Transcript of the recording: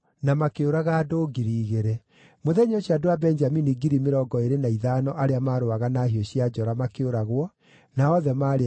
Mũthenya ũcio andũ a Benjamini 25,000 arĩa maarũaga na hiũ cia njora makĩũragwo, na othe maarĩ arũi njamba.